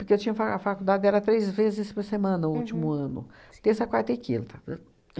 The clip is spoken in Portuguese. Porque eu tinha fa a faculdade era três vezes por semana o último ano, terça, quarta e quinta, né?